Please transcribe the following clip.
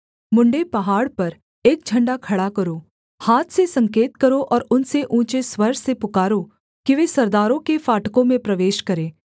मुंडे पहाड़ पर एक झण्डा खड़ा करो हाथ से संकेत करो और उनसे ऊँचे स्वर से पुकारो कि वे सरदारों के फाटकों में प्रवेश करें